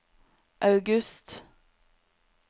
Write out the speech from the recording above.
august